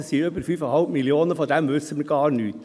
Das sind über 5,5 Mio. Franken, davon wissen wir gar nichts.